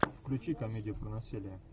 включи комедию про насилие